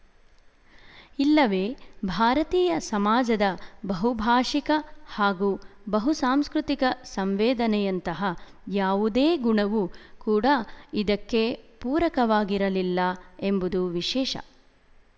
ಇಲ್ಲವೇ ಭಾರತೀಯ ಸಮಾಜದ ಬಹುಭಾಶಿಕ ಹಾಗೂ ಬಹುಸಾಂಸ್ಕೃತಿಕ ಸಂವೇದನೆಯಂತಹ ಯಾವುದೇ ಗುಣವು ಕೂಡ ಇದಕ್ಕೆ ಪೂರಕವಾಗಿರಲಿಲ್ಲ ಎಂಬುದು ವಿಶೇಶ